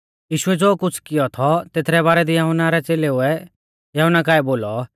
यीशुऐ ज़ो कुछ़ कियौ थौ तेथरै बारै दी यहुन्ना रै च़ेलेउऐ यहुन्ना काऐ बोलौ